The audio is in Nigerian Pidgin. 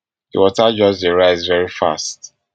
di water just dey rise very fast